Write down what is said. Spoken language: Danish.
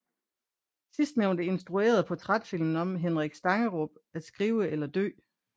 Sidstnævnte instruerede portrætfilmen om Henrik Stangerup At skrive eller dø